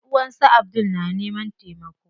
Ƴanʼuwan su Abdul na neman taimako.